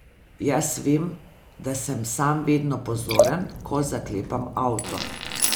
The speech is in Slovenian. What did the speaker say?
Jaz vem, da sem sam vedno pozoren, ko zaklepam avto.